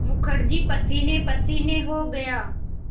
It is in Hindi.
मुखर्जी पसीनेपसीने हो गया